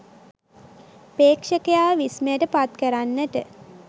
ප්‍රේක්ෂකයාව විස්මයට පත් කරන්නට